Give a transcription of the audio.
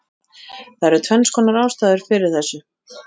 Það eru tvennskonar ástæður fyrir þessu: